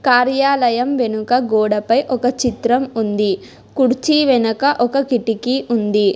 కార్యాలయం వెనుక గోడపై ఒక చిత్రం ఉంది కుడిచి వెనక ఒక కిటికీ ఉంది.